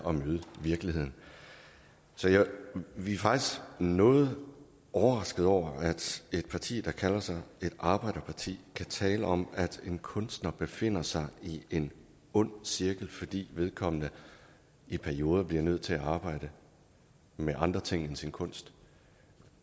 at møde virkeligheden så vi er faktisk noget overrasket over at et parti der kalder sig et arbejderparti kan tale om at en kunstner befinder sig i en ond cirkel fordi vedkommende i perioder bliver nødt til at arbejde med andre ting end sin kunst